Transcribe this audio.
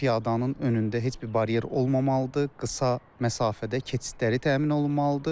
Piyadanın önündə heç bir baryer olmamalıdır, qısa məsafədə keçidləri təmin olunmalıdır.